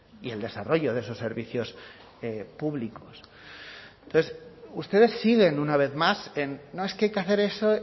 y el desarrollo de esos servicios públicos entonces ustedes siguen una vez más en no es que hay que hacer ese